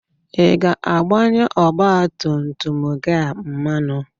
Ị ga-agbanye ọgba tum tum gị a mmanụ?